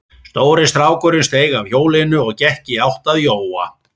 Stóri strákurinn steig af hjólinu og gekk í átt að Jóa.